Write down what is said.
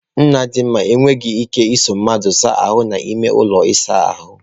Nnadinma enweghị ike ịso mmadụ asa ahu n'ime ụlọ ịsa ahụ.